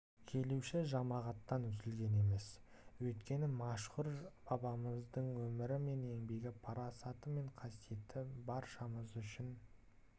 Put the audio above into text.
келуші жамағаттан үзілген емес өйткені мәшһүр бабамыздың өмірі мен еңбегі парасаты мен қасиеті баршамыз үшін